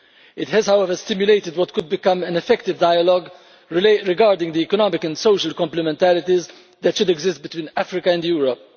It has, however, stimulated what could become an effective dialogue regarding the economic and social complementarities that should exist between Africa and Europe.